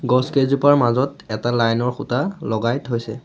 গছকেইজোপাৰ মাজত এটা লাইন ৰ খুটা লগাই থৈছে।